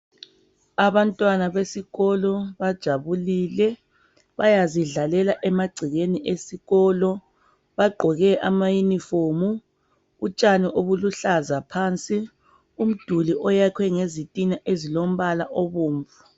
Abantwana besikolo bajabulile bayazidlalela emagcekeni esikolo bagqoke amayunifomu, utshani obuluhlaza phansi, umduli oyakhwe ngezitina ezilombala obomvu.